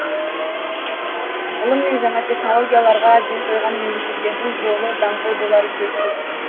ғылым мен жаңа технологияларға ден қойған мемлекеттердің жолы даңғыл болары сөзсіз